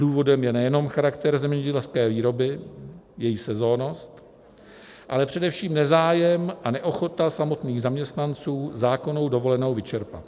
Důvodem je nejenom charakter zemědělské výroby, její sezonnost, ale především nezájem a neochota samotných zaměstnanců zákonnou dovolenou vyčerpat.